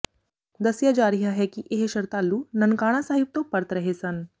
ਦੱਸਿਆ ਜਾ ਰਿਹਾ ਹੈ ਕਿ ਇਹ ਸ਼ਰਧਾਲੂ ਨਨਕਾਣਾ ਸਾਹਿਬ ਤੋਂ ਪਰਤ ਰਹੇ ਸਨ